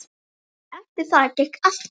Eftir það gekk allt betur.